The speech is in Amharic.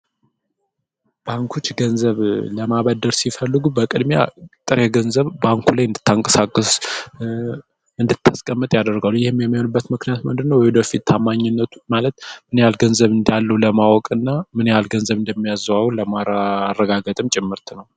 ባንኩች ገንዘብ ለማበደር ሲፈልጉ በቅድሚያ ጥር ገንዘብ ባንኩ ላይ እንታንቀሳከስ እንድተስቀምጥ ያደርገሉ ።ይህም የመኑበት ምክንያት ምድነ ወደፊት ታማኝነቱ ማለት ምኔያል ገንዘብ እንያሉ ለማወቅ እና ምንያል ገንዘብ እንደሚያዘዋው ለማረጋገጥም ጭምርት ነው።